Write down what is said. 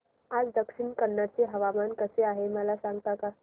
आज दक्षिण कन्नड चे हवामान कसे आहे मला सांगता का